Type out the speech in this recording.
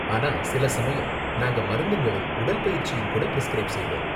ஆனா சில சமயம் நாங்க மருந்துங்களும் உடல் பயிற்சியும் கூட பிரிஸ்கிரைப் செய்வோம்.